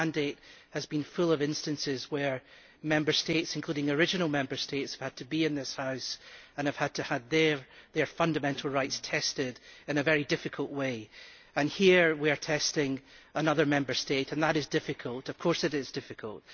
This mandate has been full of instances where Member States, including original Member States, had to be in this House and have had to have their fundamental rights tested in a very difficult way. And here we are testing another Member State and that is difficult, of course it is difficult.